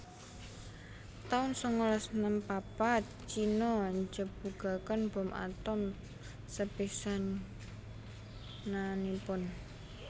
taun sangalas enem papat Cino njebugaken bom atom sepisanannipun